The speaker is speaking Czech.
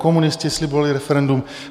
Komunisté slibovali referendum.